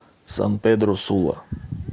сан педро сула